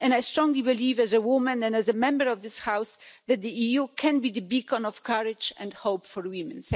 I strongly believe, as a woman and as a Member of this House, that the EU can be the beacon of courage and hope for women.